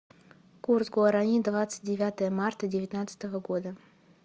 курс гуарани двадцать девятое марта девятнадцатого года